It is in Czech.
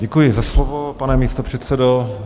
Děkuji za slovo, pane místopředsedo.